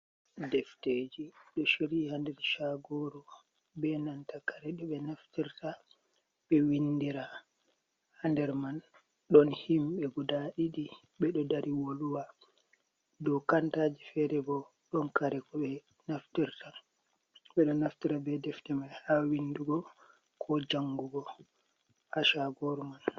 Defteji ɗo shirii ha nder shagoru, be nanta kare ɗo ɓe naftirta ɓe windira. Ha nder man don himbe guda ɗiɗi ɓe ɗo dari woluwa, dau kantaji fere bo ɗon kare ko ɓe naftira, ɓe ɗo naftira be defte ma ha windugo, ko jangugo ha shagoru man.